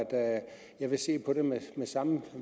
jeg vil se på det med samme